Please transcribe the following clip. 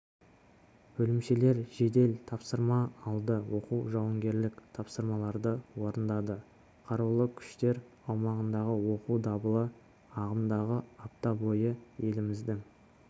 бөлімшелер жедел тапсырма алды оқу-жауынгерлік тапсырмаларды орындады қарулы күштер ауқымындағы оқу дабылы ағымдағы апта бойы еліміздің